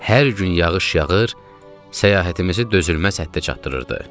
Hər gün yağış yağır, səyahətimizi dözülməz həddə çatdırırdı.